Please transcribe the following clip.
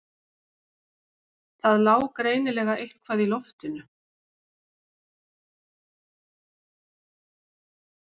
Það lá greinilega eitthvað í loftinu.